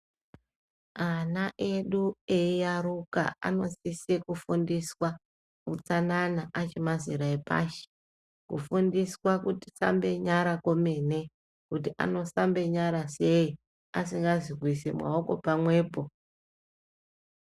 Ana edu eiyaruka anosise kufundiswa hutsanana achimazera epashi kufundiswa kusambe nyara kwemene. Kuti anosamba nyara sei asingazi kuisa maoko pamwepo.